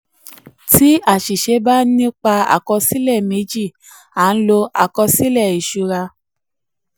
tí àṣìṣe bá nípa àkọsílẹ méjì a n lo àkọsílẹ ìṣura.